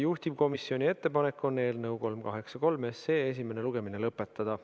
Juhtivkomisjoni ettepanek on eelnõu 383 esimene lugemine lõpetada.